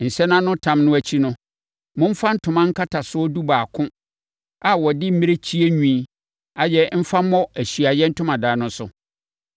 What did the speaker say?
“Nsɛnanotam no akyi no, momfa ntoma nkatasoɔ dubaako a wɔde mmirekyie nwi ayɛ mfa mmɔ Ahyiaeɛ Ntomadan no so.